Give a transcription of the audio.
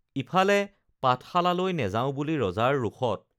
ইফালে পাঠশালালৈ নেযাওঁ বুলিও ৰজাৰ ৰোষত